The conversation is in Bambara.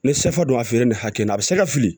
Ni sɛfa donna a feere ni hakɛ in na a bɛ se ka fili